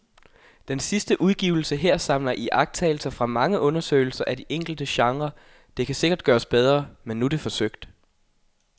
Den sidste udgivelse her samler iagttagelser fra mange undersøgelser af de enkelte genrer, det kan sikkert gøres bedre, men nu er det forsøgt.